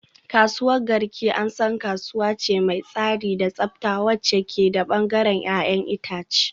Kasuwar Garki an san kasuwa ce mai tsari da tsafta wacce ke da bangaren 'ya'yan itace